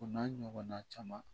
O n'a ɲɔgɔnna caman